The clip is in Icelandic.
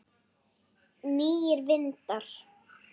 Nýir vindar?